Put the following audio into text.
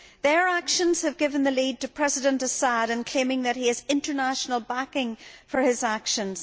Their actions have given the lead to President al Assad in claiming that he has international backing for his actions.